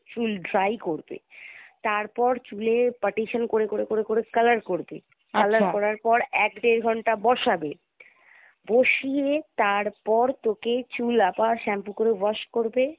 চুল dry করবে তারপর চুলে partition করে করে করে করে color করবে করার পর এক দেড় ঘন্টা বসাবে বসিয়ে তারপর তোকে চুল আবার shampoo করে wash করবে।